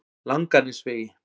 Langanesvegi